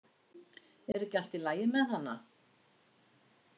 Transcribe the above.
Er ekki allt í lagi með hana?